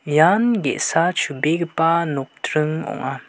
ian ge·sa chubegipa nokdring ong·a.